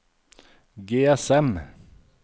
GSM